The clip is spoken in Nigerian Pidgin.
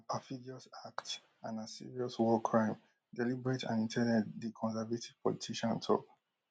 na perfidious act and na serious war crime deliberate and in ten ded di conservative politician tok